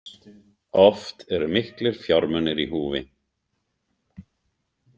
Oft eru miklir fjármunir í húfi.